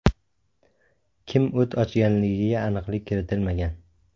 Kim o‘t ochganligiga aniqlik kiritilmagan.